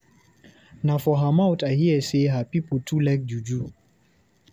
Na for her mouth I hear sey her pipu too like juju.